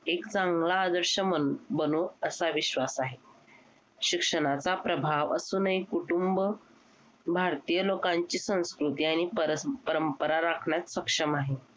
एक चांगला आदर्श बनु असा विश्वास आहे शिक्षणाचा प्रभाव असूनही कुटुंब भारतीय लोकांची संस्कृती आणि पर अह परंपरा राखण्यास सक्षम आहे.